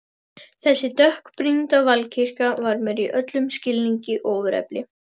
Þessi dökkbrýnda valkyrja var mér í öllum skilningi ofurefli.